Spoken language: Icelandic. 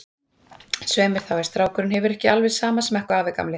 Svei mér þá, ef strákurinn hefur ekki alveg sama smekk og afi gamli.